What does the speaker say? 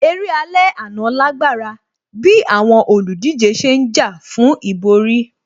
Eré alẹ́ àná lágbára bíi àwọn olùdíje ṣe ń jà fún ìborí